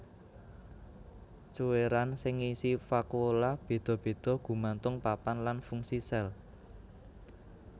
Cuwèran sing ngisi vakuola béda béda gumantung papan lan fungsi sel